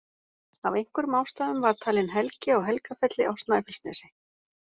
Af einhverjum ástæðum var talin helgi á Helgafelli á Snæfellsnesi.